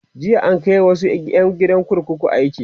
jiya an Kai wasu ƴan gidan kurkuku aiki